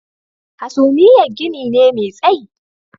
Hasumiyar gini ne mai tsayi